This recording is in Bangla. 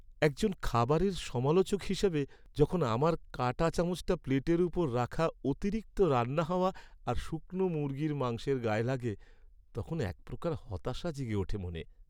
একজন খাবারের সমালোচক হিসাবে, যখন আমার কাঁটাচামচটা প্লেটের উপর রাখা অতিরিক্ত রান্না হওয়া আর শুকনো মুরগির মাংসের গায়ে লাগে, তখন এক প্রকার হতাশা জেগে ওঠে মনে!